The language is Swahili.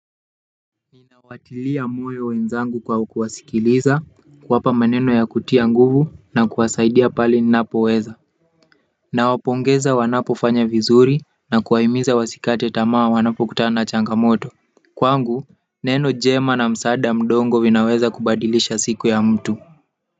Ninawatilia moyo wenzangu kwa kuwasikiliza kuwapa maneno ya kutia nguvu na kuwasaidia pale ninapo weza. Nawapongeza wanapo fanya vizuri na kuwahimiza wasikate tamaa wanapo kutana na changamoto kwangu neno njema na msaada mdono vinaweza kubadilisha siku ya mtu.